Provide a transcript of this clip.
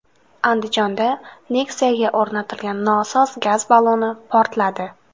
Andijonda Nexia’ga o‘rnatilgan nosoz gaz balloni portladi.